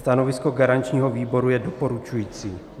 Stanovisko garančního výboru je doporučující.